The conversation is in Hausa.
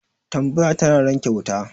Tambaya tana ranke wuta